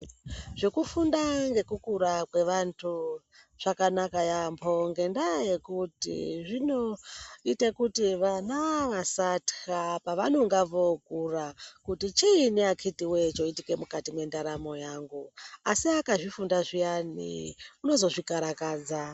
Zvekufunda ngekukura kwevantu zvakanaka yaambo ngendaya yekuti zvinoita kuti vana vasatka pavanonga vookura kuti chiinyi akiti woye choitike mukati mwendaramo yangu asi akazvifunda zviyani unozozvikarakadza .